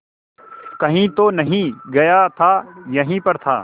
कहीं तो नहीं गया था यहीं पर था